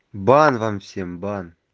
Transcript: бан вам всем бан